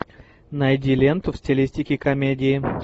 найди ленту в стилистике комедии